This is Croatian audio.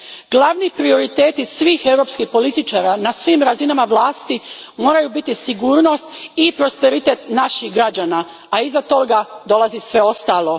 Glavni prioriteti svih europskih političara na svim razinama vlasti moraju biti sigurnost i prosperitet naših građana, a iza toga dolazi sve ostalo.